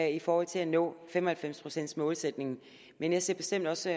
i forhold til at nå fem og halvfems procents målsætningen men jeg ser bestemt også